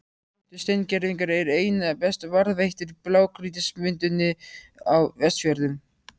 Plöntusteingervingar eru einna best varðveittir í blágrýtismynduninni á Vestfjörðum.